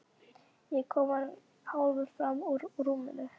Ég er kominn hálfur fram úr rúminu.